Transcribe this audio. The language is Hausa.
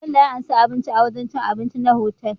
Bello ya anshi abinci a wajan cin abinci na otal